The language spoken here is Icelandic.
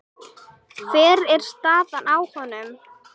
Hver er staðan á honum?